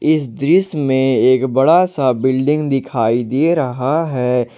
इस दृश्य में एक बड़ा सा बिल्डिंग दिखाई दे रहा है।